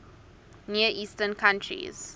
near eastern countries